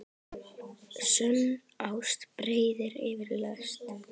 Sönn ást breiðir yfir lesti.